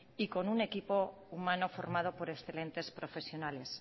y con un equipo humano formado por excelentes profesionales